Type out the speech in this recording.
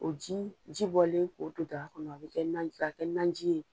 O ji jibɔlen Ko don daga kɔnɔ a bi kɛ, k'a kɛ naji ye.